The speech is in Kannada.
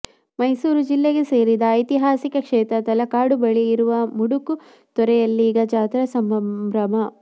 ಮೈಸೂರು ಜಿಲ್ಲೆಗೆ ಸೇರಿದ ಐತಿಹಾಸಿಕ ಕ್ಷೇತ್ರ ತಲಕಾಡು ಬಳಿಯಿರುವ ಮುಡುಕುತೊರೆಯಲ್ಲೀಗ ಜಾತ್ರಾ ಸಂಭ್ರಮ